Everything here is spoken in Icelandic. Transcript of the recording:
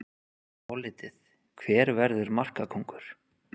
Álitið: Hver verður markakóngur?